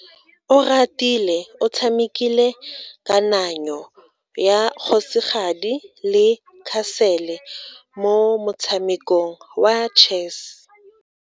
Oratile o tshamekile kananyo ya kgosigadi le khasele mo motshamekong wa chess.